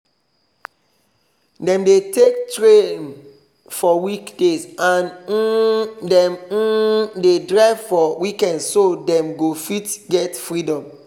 dem dey take tram for weekdays and um them um dey drive for weekends so them go fit get freedom